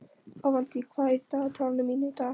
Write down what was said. Avantí, hvað er í dagatalinu mínu í dag?